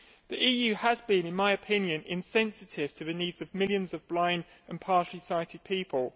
The EU has been, in my opinion, insensitive to the needs of millions of blind and partially sighted people.